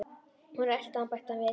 Þú verður að elta hann bætti hann við.